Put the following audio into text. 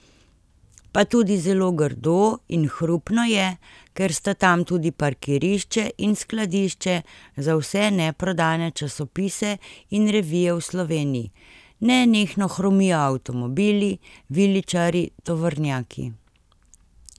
Pa tudi zelo grdo in hrupno je, ker sta tam tudi parkirišče in skladišče za vse neprodane časopise in revije v Sloveniji, nenehno hrumijo avtomobili, viličarji, tovornjaki.